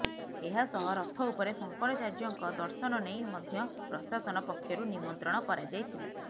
ଏହାସହ ରଥ ଉପରେ ଶଙ୍କରାଚାର୍ଯ୍ୟଙ୍କ ଦର୍ଶନ ନେଇ ମଧ୍ୟ ପ୍ରଶାସନ ପକ୍ଷରୁ ନିମନ୍ତ୍ରଣ କରାଯାଇଥିଲା